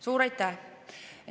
Suur aitäh!